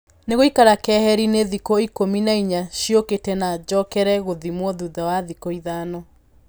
Nĩgũikara keherinĩ thikũ ikũmi na inya ciokĩte na jokere gũthimwo thutha wa thikũ ithano.